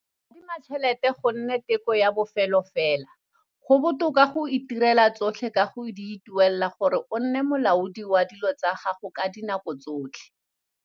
Adima tšhelete go nne teko ya bofelo fela - go botoka go dira tsotlhe ka go di ituela gore o nne molaodi wa dilo tsa gago ka dinako tsotlhe.